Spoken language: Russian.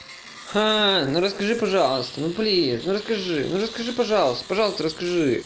ха ну расскажи пожалуйста ну пожалуйста ну расскажи ну расскажи пожалуйста пожалуйста расскажи